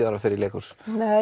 það fer í leikhús